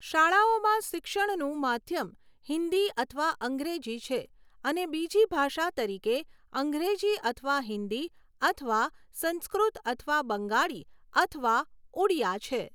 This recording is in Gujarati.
શાળાઓમાં શિક્ષણનું માધ્યમ હિન્દી અથવા અંગ્રેજી છે અને બીજી ભાષા તરીકે અંગ્રેજી અથવા હિન્દી અથવા સંસ્કૃત અથવા બંગાળી અથવા ઉડિયા છે.